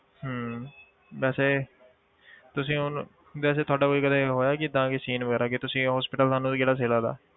ਹਮ ਵੈਸੇ ਤੁਸੀਂ ਹੁਣ ਵੈਸੇ ਤੁਹਾਡਾ ਕੋਈ ਕਦੇ ਹੋਇਆ ਕਿ ਏਦਾਂ ਕੋਈ scene ਵਗ਼ੈਰਾ ਕਿ ਤੁਸੀਂ hospital ਤੁਹਾਨੂੰ ਕਿਹੜਾ ਸਹੀ ਲੱਗਦਾ।